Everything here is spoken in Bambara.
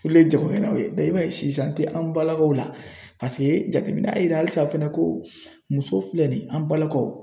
Olu le ye jagokɛlaw ye i b'a ye sisan tɛ an balakaw la paseke jateminɛ y'a yira halisa fɛnɛ ko muso filɛ nin ye an balakaw